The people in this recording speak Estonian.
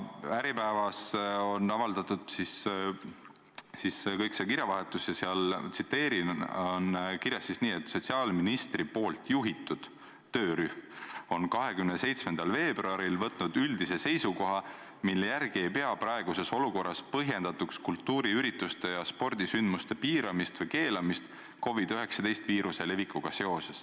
Äripäevas on avaldatud kogu see kirjavahetus ja seal on kirjas: "Sotsiaalministeeriumi poolt juhitud töörühm võttis 27. veebruaril üldise seisukoha, mille järgi ei pea praeguses olukorras põhjendatuks kultuurisündmuste ja spordisündmuste piiramist või keelamist COVID-19 viiruse levikuga seoses.